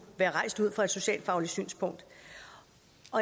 være rejst ud fra et socialfagligt synspunkt